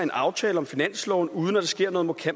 aftale om finansloven uden at der sker noget